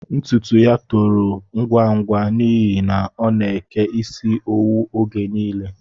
Ntụtụ yá tòrò ngwa ngwa n'ihi na ọ na-eke isi owu oge nile